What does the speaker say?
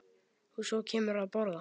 Og svo kemurðu að borða!